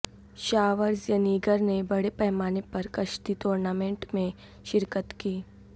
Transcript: Schwarzenegger نے بڑے پیمانے پر کشتی ٹورنامنٹ میں شرکت کی